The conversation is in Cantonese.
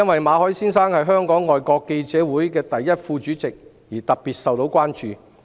馬凱先生是香港外國記者會第一副主席，其個案因而受到特別關注。